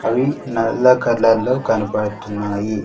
అవి నల్ల కలర్లో కనబడుతున్నాయి.